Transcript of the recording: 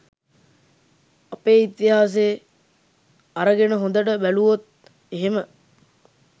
අපේ ඉතිහාසේ අරගෙන හොඳට බැලූවොත් එහෙම